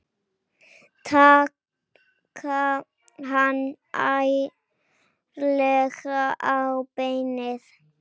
Taka hann ærlega á beinið.